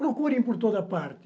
Procurem por toda parte.